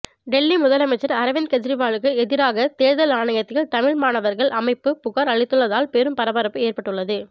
டெல்லி முதலமைச்சர் அரவிந்த் கெஜ்ரிவாலுக்கு எதிராக தேர்தல் ஆணையத்தில் தமிழ் மாணவர்கள் அமைப்பு புகார் அளித்துள்ளதால் பெரும் பரபரப்பு ஏற்பட்டுள்ளது